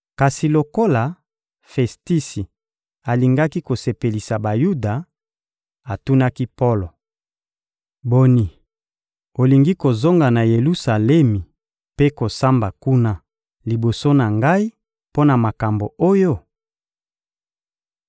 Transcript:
Kasi lokola Festisi alingaki kosepelisa Bayuda, atunaki Polo: — Boni, olingi kozonga na Yelusalemi mpe kosamba kuna liboso na ngai mpo na makambo oyo?